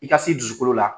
I ka s'i dusukolo la